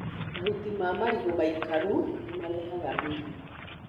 Mahuti ma marigũ maikaru nĩ marehaga mĩrimũ.